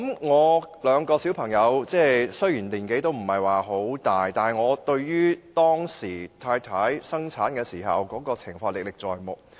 我有兩名小朋友，雖然年紀不是很大，但我對太太當時生產的情況歷歷在目。